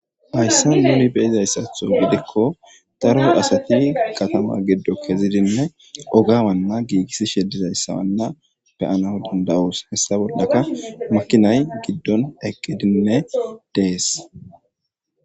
Hayssa nuuni beyizayssatho gidikko daro asati katama giddo kezidinne ogawanna giigissishe dizayssawanna be7aw dandda7oos. Hessa bollaka makinay giddon eqqedinne dees.